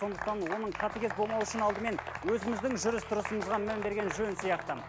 сондықтан оның қатыгез болмауы үшін алдымен өзіміздің жүріс тұрысымызға мән берген жөн сияқты